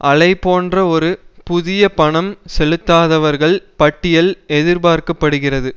அலை போன்ற ஒரு புதிய பணம் செலுத்தாதவர்கள் பட்டியல் எதிர்பார்க்க படுகிறது